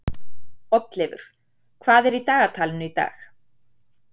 Oddleifur, hvað er í dagatalinu í dag?